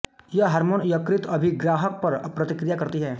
यह हार्मोन यकृत के अभिग्राहक पर प्रतिक्रिया करती है